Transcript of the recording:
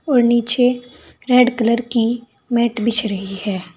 और नीचे red colour की मेट बिछ रही है।